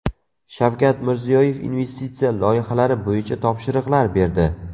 Shavkat Mirziyoyev investitsiya loyihalari bo‘yicha topshiriqlar berdi.